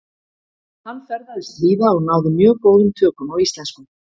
Hann ferðaðist víða og náði mjög góðum tökum á íslensku.